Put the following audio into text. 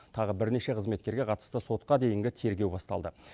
тағы бірнеше қызметкерге қатысты сотқа дейінгі тергеу басталды